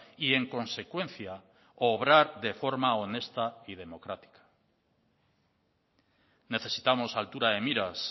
y en consecuencia obrar de forma honesta y democrática necesitamos altura de miras